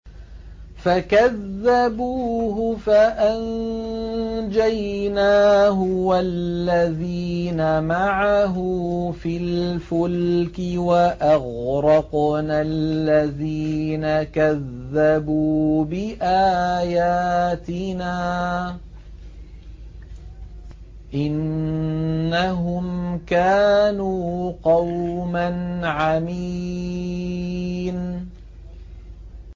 فَكَذَّبُوهُ فَأَنجَيْنَاهُ وَالَّذِينَ مَعَهُ فِي الْفُلْكِ وَأَغْرَقْنَا الَّذِينَ كَذَّبُوا بِآيَاتِنَا ۚ إِنَّهُمْ كَانُوا قَوْمًا عَمِينَ